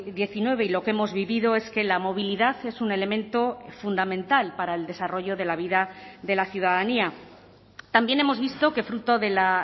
diecinueve y lo que hemos vivido es que la movilidad es un elemento fundamental para el desarrollo de la vida de la ciudadanía también hemos visto que fruto de la